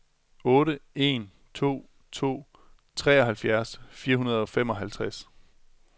otte en to to treoghalvfjerds fire hundrede og femoghalvtreds